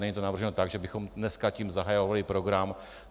Není to navrženo tak, že bychom dneska tím zahajovali program.